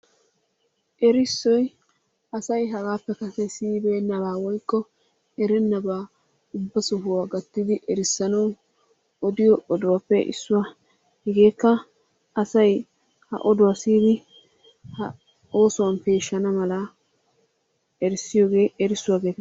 Erissoy asay hagaappe kase siyibeennabaa woyikko erennabaa ubba sohuwa gattidi erissanawu odiyo oduwappe issuwa. Hegeekka asay ha oduwa siyidi oosuwan peeshshana malaa erissiyogee erissuwa geetettes.